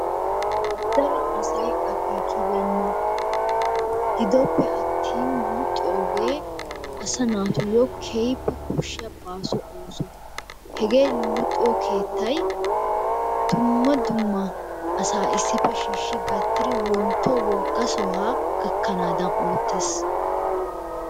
Daro asay akeekibeenna. Gidoppe attin luxiyoogee asa naatuyo keehippe koshshiya baaso ooso. Hegee luxiyo keettay dumma dumma asaa issippe shiishshidi gattiri wontto wogga sohaa gakkanaadan oottes.